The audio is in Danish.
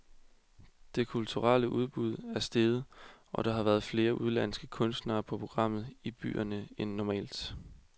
Det kulturelle udbud er steget, og der har været flere udenlandske kunstnere på programmet i byerne end normalt.